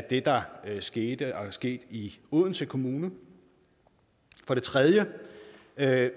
det der skete og er sket i odense kommune for det tredje er der